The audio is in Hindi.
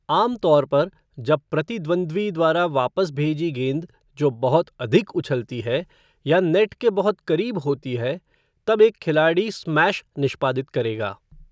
आमतौर पर जब प्रतिद्वंद्वी द्वारा वापस भेजी गेंद जो बहुत अधिक उछलती है या नेट के बहुत करीब होती है तब एक खिलाड़ी स्मैश निष्पादित करेगा।